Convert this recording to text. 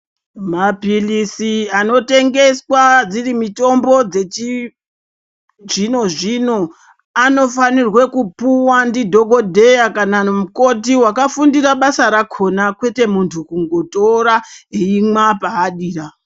Mapilisi ano tengeswa dziri mitombo dzechi zvino zvino anofanirwe kupuwa ndi dhokodheya kana mukoti waka fundira basa rakona kwete muntu kungo tora eyimwa paadira.